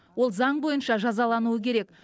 ол заң бойынша жазалануы керек